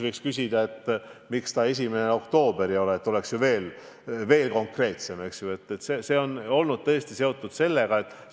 Võiks ju küsida, miks see 1. oktoober ei ole, oleks veel konkreetsemalt näha, et see on tõesti sellega seotud.